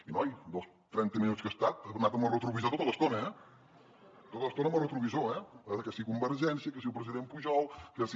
i noi en els trenta minuts que ha estat ha anat amb el retrovisor tota l’estona eh tota l’estona amb el retrovisor eh que si convergència que si el president pujol que si